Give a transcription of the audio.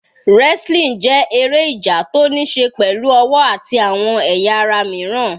Wrestling jẹ́ eré ìjà tó níí ṣe pẹ̀lú ọwọ́ àti àwọn ẹ̀yà ara míràn.